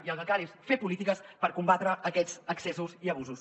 i el que cal és fer polítiques per combatre aquests excessos i abusos